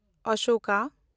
Ashoka